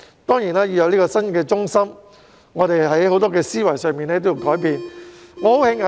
當然，香港要有新的中心，在思維上也要作出很多的改變。